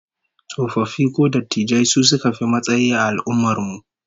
Tsofaffi ko dattijai su suka fi matsayi a al'ummar mu